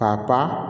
K'a ta